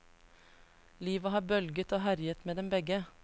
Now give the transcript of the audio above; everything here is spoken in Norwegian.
Livet har bølget og herjet med dem begge.